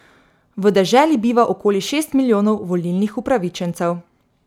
V deželi biva okoli šest milijonov volilnih upravičencev.